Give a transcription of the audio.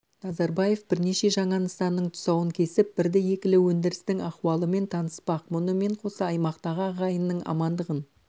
назарбаев бірнеше жаңа нысанның тұсауын кесіп бірді-екілі өндірістің ахуалымен таныспақ мұнымен қоса аймақтағы ағайынның амандығын